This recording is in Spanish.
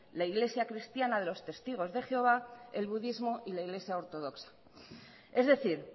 la iglesia cristiana de los testigos de jehová el budismo y la iglesia ortodoxa es decir